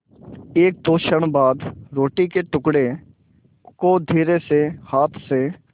एकदो क्षण बाद रोटी के टुकड़े को धीरेसे हाथ से